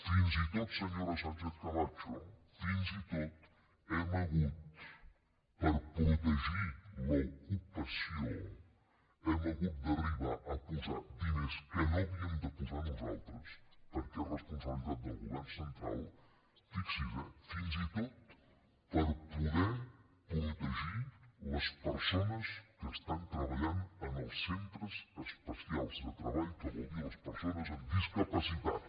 fins i tot senyora sánchezcamacho fins i tot hem hagut per protegir l’ocupació d’arribar a posar diners que no havíem de posar nosaltres perquè és responsabilitat del govern central fixi’s eh fins i tot per poder protegir les persones que estan treballant en els centres especials de treball que vol dir les persones amb discapacitat